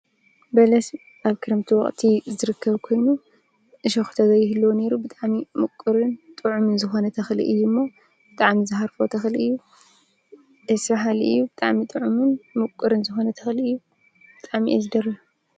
በለስ ኣብ ክረምቲ ወቅቲ ዝርከብ ኮይኑ እሾክ እንተዘይህልዎ ነይሩ ብጣዕሚ ምቁሩን ጥዕሙን ዝኮነ ተክሊ እዩ እሞ ብጣዕሚ ዝሃርፎ ተክሊ እዩ። ደስ ብሃሊ እዩ። ብጣዕሚ ጥዕሙን ሙቁሩን ዝኮነ ተክሊ እዩ። ብጣዕሚ እየ ዝደልዮ።